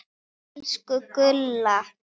Elsku Gulla.